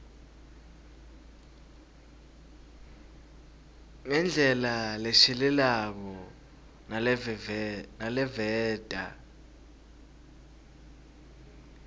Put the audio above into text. ngendlela leshelelako naleveta